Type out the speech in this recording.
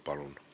Palun!